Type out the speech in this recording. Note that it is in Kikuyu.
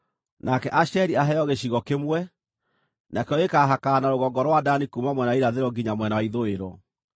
“Nake Asheri aheo gĩcigo kĩmwe; nakĩo gĩkaahakana na rũgongo rwa Dani kuuma mwena wa irathĩro nginya mwena wa ithũĩro.